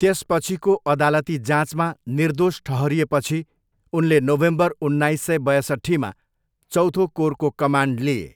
त्यसपछिको अदालती जाँचमा निर्दोष ठहरिएपछि उनले नोभेम्बर उन्नाइस सय बयसट्ठीमा चौथो कोरको कमान्ड लिए।